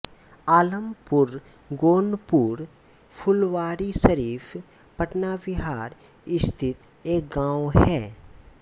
आलमपुरगोनपुर फुलवारीशरीफ़ पटना बिहार स्थित एक गाँव है